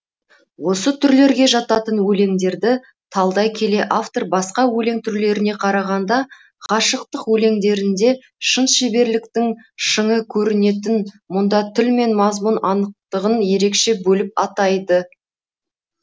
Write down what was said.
осы түрлерге жататын өлеңдерді талдай келе автор басқа өлең түрлеріне қарағанда ғашықтық өлеңдерінде шын шеберліктің шыңы көрінетін мұнда тіл мен мазмұн анықтығын ерекше бөліп атайды